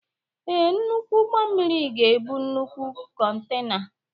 Ee, nnukwu ụgbọ mmiri ga-ebu nnukwu kontena.